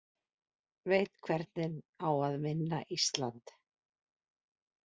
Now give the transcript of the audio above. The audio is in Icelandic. Veit hvernig á að vinna Ísland